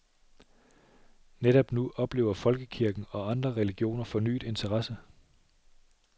Netop nu oplever folkekirken og andre religioner fornyet interesse.